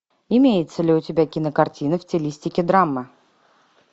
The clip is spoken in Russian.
имеется ли у тебя кинокартина в стилистике драма